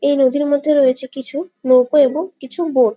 এই নদীর মধ্যে রয়েছে কিছু নৌকো এবং কিছু বোট ।